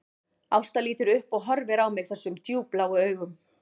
Ásta lítur upp og horfir á mig þessum djúpbláu augum